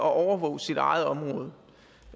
at overvåge sit eget område